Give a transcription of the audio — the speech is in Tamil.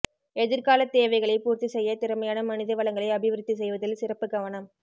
எதிர்கால தேவைகளை பூர்த்தி செய்ய திறமையான மனித வளங்களை அபிவிருத்தி செய்வதில் சிறப்பு கவனம்